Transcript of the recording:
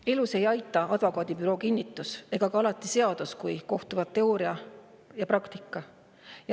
Elus ei aita advokaadibüroo kinnitus ja alati ei aita ka seadus, kui kohtuvad teooria ja praktika.